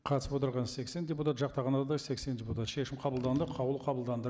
қатысып отырған сексен депутат жақтағандар да сексен депутат шешім қабылданды қаулы қабылданды